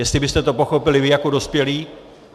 Jestli byste to pochopili vy jako dospělí.